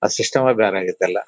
ಆ ಸಿಸ್ಟಮ್ ಎ ಬೇರೆ ಆಗಿದ್ದು ಎಲ್ಲ.